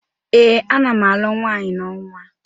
Ee, ana m alụ nwaanyi n'ọnwa.